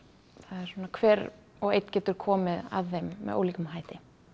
svona hver og einn getur komið að þeim með ólíkum hætti